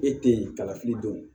E te yen kalafili don